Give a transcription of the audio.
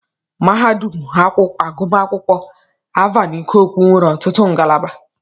Mahadum agụmakwụkwọ Alvan Ikoku nwere ọtụtụ ngalaba.